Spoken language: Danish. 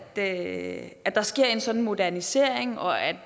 at at der sker en sådan modernisering og at